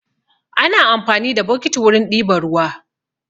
Ana amfani da bokiti wurin ɗiba ruwa.